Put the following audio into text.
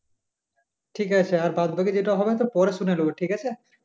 ঠিক আছে আর বাদবাকি যেটা হবে সে পরে শুনে নেব ঠিক আছে?